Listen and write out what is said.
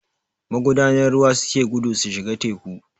Magudanan ruwa suke gudu su shiga teku